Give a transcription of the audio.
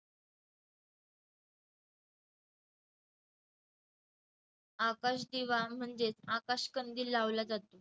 आकाशदिवा म्हणजेच आकाशकंदिल लावला जात~